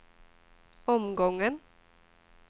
omgången